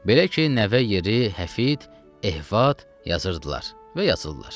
Belə ki, nəvə yeri, həfid, ehfad yazırdılar və yazırdılar.